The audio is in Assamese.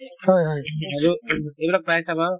আৰু এইবিলাক প্ৰায়ে চাবা